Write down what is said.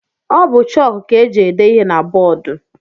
Ọ bụ chọk ka e ji ede ihe na bọọdu.